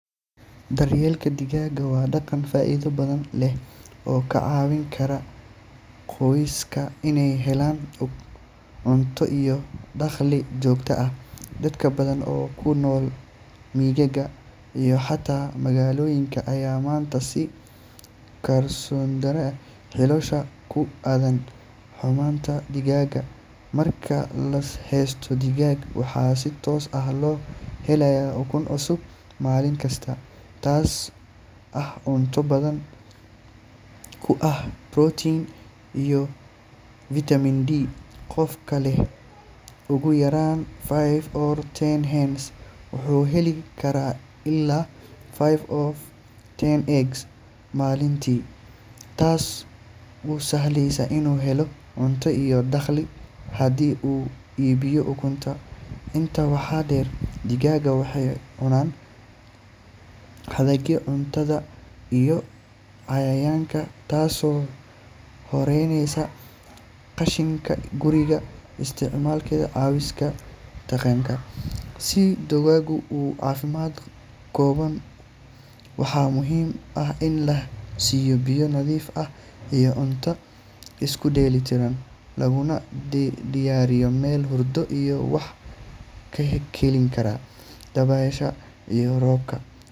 Daryeelka digaagga waa dhaqan faa’iido badan leh oo ka caawin kara qoysaska inay helaan cunto iyo dakhli joogto ah. Dad badan oo ku nool miyiga iyo xataa magaalooyinka ayaa maanta sii kordhinaya xiisahooda ku aaddan xanaanaynta digaagga. Marka la haysto digaag, waxaa si toos ah loo helayaa ukun cusub maalin kasta, taasoo ah cunto hodan ku ah protein iyo vitamin D. Qofka leh ugu yaraan five to ten hens wuxuu heli karaa ilaa five to ten eggs maalintii, taasoo u sahlaysa inuu helo cunto iyo dakhli haddii uu iibiyo ukunta. Intaa waxaa dheer, digaagga waxay cunaan hadhaaga cuntada iyo cayayaanka, taasoo yareynaysa qashinka guriga islamarkaana caawisa deegaanka. Si digaaggu u caafimaad qabaan, waxaa muhiim ah in la siiyo biyo nadiif ah iyo cunto isku dheellitiran, looguna diyaariyo meel hurdo iyo wax ka celin kara dabaysha iyo roobka.